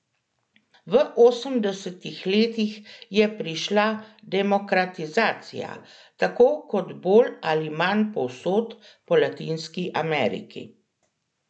V osemdesetih letih je prišla demokratizacija, tako kot bolj ali manj povsod po Latinski Ameriki.